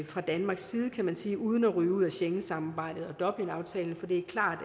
fra danmarks side kan man sige uden at ryge ud af schengensamarbejdet og dublinaftalen for det er klart